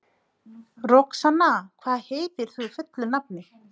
Amma, Gamli faðir minn, og ég.